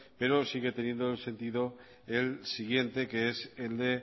pero sigue teniendo el sentido el siguiente que es el de